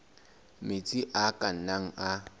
metsi a ka nnang a